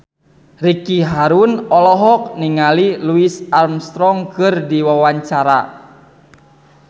Ricky Harun olohok ningali Louis Armstrong keur diwawancara